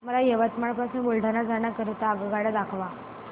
मला यवतमाळ पासून बुलढाणा जाण्या करीता आगगाड्या दाखवा